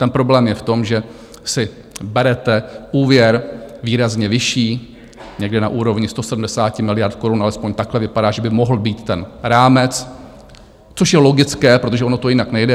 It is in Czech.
Ten problém je v tom, že si berete úvěr výrazně vyšší, někde na úrovni 170 miliard korun - alespoň takhle vypadá, že by mohl být ten rámec, což je logické, protože ono to jinak nejde.